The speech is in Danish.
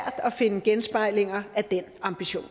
at finde genspejlinger af den ambition